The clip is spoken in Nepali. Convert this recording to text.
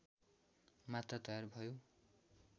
मात्र तयार भयो